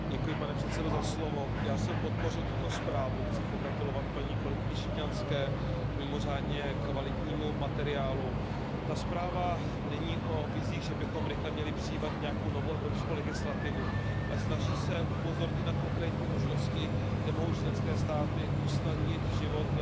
Pane předsedající, já jsem podpořil tuto zprávu, chci pogratulovat kolegyni Žitňanské k mimořádně kvalitnímu materiálu. Ta zpráva není o vizích, že bychom měli rychle přijímat nějakou novou evropskou legislativu, ale snaží se upozornit na konkrétní možnosti, kde mohou členské státy usnadnit život